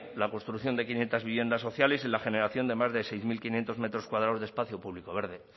la construcción de quinientos viviendas sociales y la generación de más de seis mil quinientos metros cuadrados de espacio público verde